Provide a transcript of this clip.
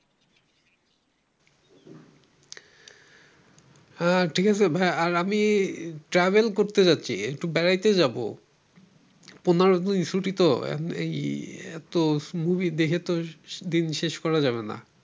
হ্যাঁ ঠিক আছে ভাইয়া আমি travel করতে চাচ্ছি একটু বেড়াতে যাব পনের দিন ছুটি তো এই এত মুভি দেখে তো দিন শেষ করা যাবে না ।